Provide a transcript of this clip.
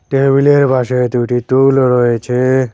টেবিলের পাশে দুটি টুলও রয়েছে।